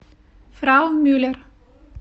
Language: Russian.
фрау мюллер